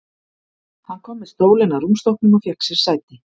Hann kom með stólinn að rúmstokknum og fékk sér sæti.